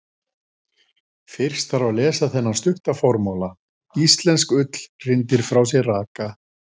Fyrst þarf að lesa þennan stutta formála: Íslensk ull hrindir frá sér raka.